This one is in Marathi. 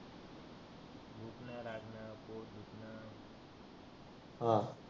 हं